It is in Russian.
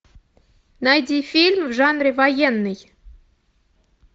найди фильм в жанре военный